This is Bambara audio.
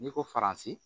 N'i ko faransi